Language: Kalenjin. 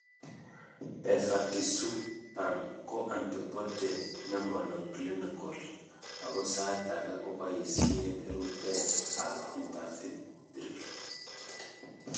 Bevakizubam ko antibody ne monoclinical ako saait ake koboisien ruteet ab intravitreal